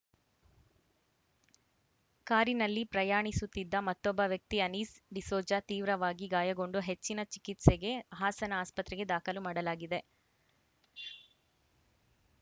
ಕಾರಿನಲ್ಲಿ ಪ್ರಯಾಣಿಸುತ್ತಿದ್ದ ಮತ್ತೊಬ್ಬ ವ್ಯಕ್ತಿ ಅನೀಸ್‌ ಡಿಸೋಜ ತೀವ್ರವಾಗಿ ಗಾಯಗೊಂಡು ಹೆಚ್ಚಿನ ಚಿಕಿತ್ಸೆಗೆ ಹಾಸನ ಆಸ್ಪತ್ರೆಗೆ ದಾಖಲು ಮಾಡಲಾಗಿದೆ